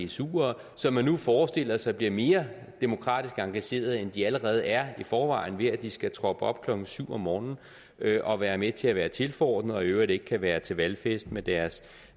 dsuere som man nu forestiller sig bliver mere demokratisk engageret end de allerede er i forvejen ved at de skal troppe op klokken syv om morgenen og være med til at være tilforordnede og i øvrigt ikke kan være til valgfest med deres